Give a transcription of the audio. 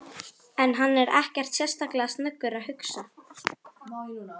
En hann er ekkert sérstaklega snöggur að hugsa.